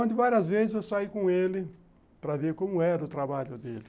Onde várias vezes eu saí com ele para ver como era o trabalho dele.